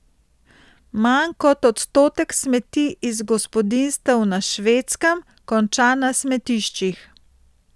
Manj kot odstotek smeti iz gospodinjstev na Švedskem konča na smetiščih.